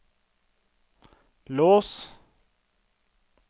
lås